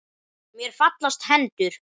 Mér fallast hendur.